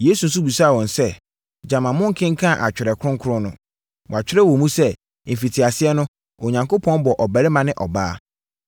Yesu nso bisaa wɔn sɛ, “Gyama monkenkan Atwerɛ Kronkron no? Wɔatwerɛ wɔ mu sɛ, ‘Mfitiaseɛ no, Onyankopɔn bɔɔ ɔbarima ne ɔbaa!